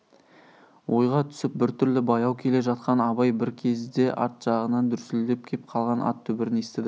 ойға түсіп бір түрлі баяу келе жатқан абай бір кезде арт жағынан дүрсілдеп кеп қалған ат дүбірін естіді